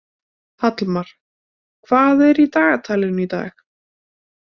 Hallmar, hvað er í dagatalinu í dag?